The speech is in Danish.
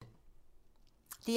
DR1